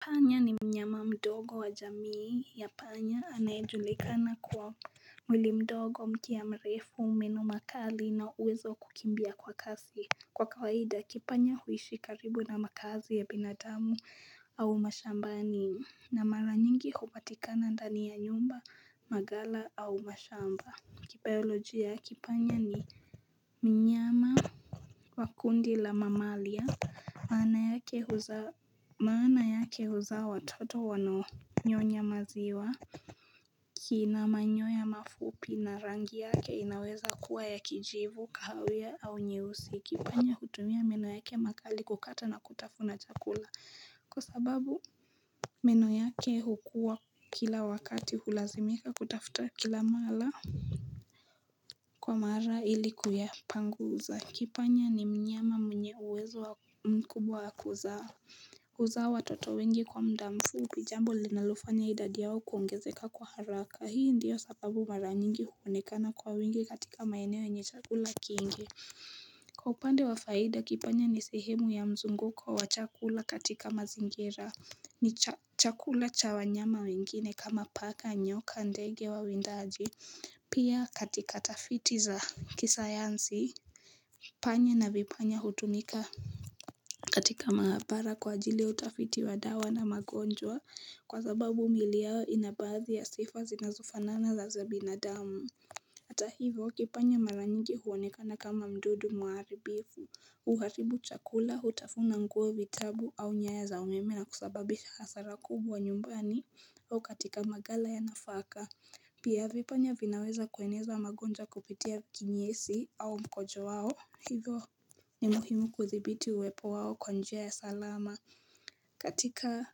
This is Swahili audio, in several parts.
Panya ni mnyama mdogo wa jamii ya panya anayejulikana kwa mwili mdogo mkia ya mrefu meno makali na uwezo wa kukimbia kwa kasi Kwa kawaida kipanya huishi karibu na makaazi ya binadamu au mashambani na mara nyingi kupatikana ndani ya nyumba magala au mashamba Kibioloji ya kipanya ni mnyama wa kundi la mamalia maana yake huzaa watoto wanaonyonya maziwa kina manyoya mafupi na rangi yake inaweza kuwa ya kijivu kahawia au nyeusi Kipanya kutumia meno yake makali kukata na kutafuna chakula Kwa sababu meno yake hukua kila wakati hulazimika kutafuta kila mara Kwa mara ili kuyapanguza Kipanya ni mnyama mwenye uwezo mkubwa wa kuzaa Huza watoto wengi kwa muda mfupi jambo linalofanya idadi yao kuongezeka kwa haraka Hii ndiyo sababu mara nyingi huonekana kwa wengi katika maeneo yenye chakula kingi Kwa upande wa faida kipanya ni sehemu ya mzunguko wa wachakula katika mazingira ni chakula cha wanyama wengine kama paka nyoka ndege wawindaji Pia katika tafiti za kisayansi panya na vipanya hutumika katika maabara kwa ajili utafiti wa dawa na magonjwa kwa sababu mili yao inabadhii ya sifa zinazofanana za za binadamu Hata hivo kipanya mara nyingi huonekana kama mdudu muharibifu huharibu chakula hutafuna nguo vitabu au nyaya za umeme na kusababisha hasara kubwa nyumbani O katika magala ya nafaka, pia vipanya vinaweza kueneza wamagonjwa kupitia kinyesi au mkojo wao, hivyo ni muhimu kuthibiti uwepo wao kwa njia ya salama. Katika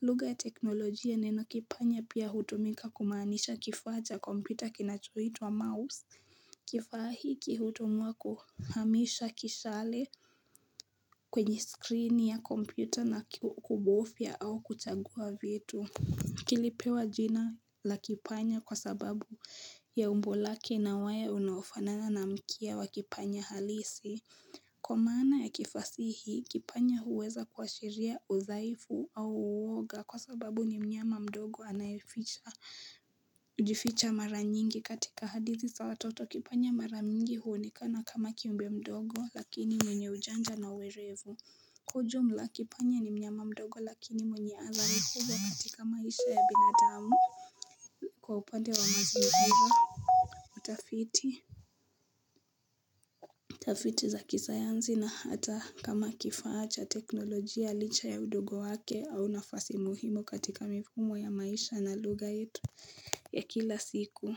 lugha ya teknolojia neno kipanya pia hutumika kumaanisha kifaa cha kompyuta kinachuitwa mouse. Kifaa hiki hutumiwa kuhamisha kishale kwenye skrini ya kompyuta na kubofia au kuchagua vitu. Kilipewa jina la kipanya kwa sababu ya umbo lake na waya unaofanana na mkia wa kipanya halisi Kwa maana ya kifasihi kipanya huweza kuwashiria uzaifu au uwoga kwa sababu ni mnyama mdogo anayeficha kujificha mara nyingi katika hadithi za watoto kipanya mara nyingi huonekana kama kiumbe mdogo lakini mwenye ujanja na uerevu ku ujumla kipanya ni mnyama mdogo lakini mwenye athari kubwa katika maisha ya binadamu Kwa upande wa mazimu hivyo utafiti utafiti za kisayanzi na hata kama kifaa cha teknolojia licha ya udogo wake au nafasi muhimo katika mifumo ya maisha na lugha yetu ya kila siku.